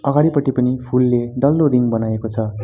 अगाडिपट्टि पनि फूलले डल्लो रिङ बनाएको छ।